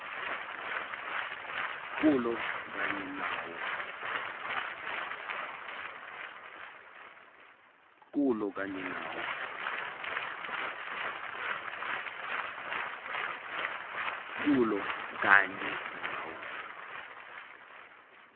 kulo kanye nawo